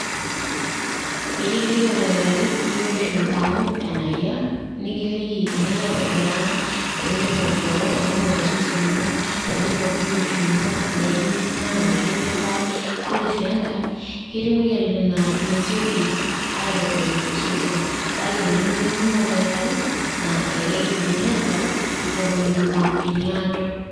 Peyie kiliki oldakitari biotisho ino enayia ,nikiliki enilo aitobiraa teningor kewon ,teningor osesen lino ,teningor biotisho ino, ndaikin ninya ,ndaikin nipal ,ore sii enkae ketii moyiaritin naaa mesioki aitodolu tosesen kake tenilo mikimpimo oldakitari naa elelek esiokini aasaru eton eitu epuo eniaado.